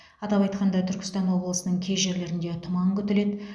атап айтқанда түркістан облысының кей жерлерінде тұман күтіледі